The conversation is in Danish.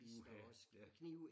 Uha ja